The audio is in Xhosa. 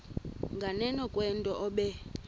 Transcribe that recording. nganeno kwento obe